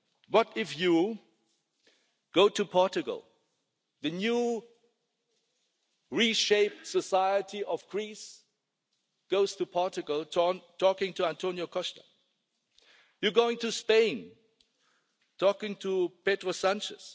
What if you go to Portugal? The newly-reshaped society of Greece goes to Portugal, talks to António Costa. You go to Spain, and talk to Pedro Sánchez.